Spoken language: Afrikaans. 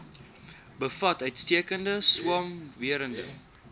bevat uitstekende swamwerende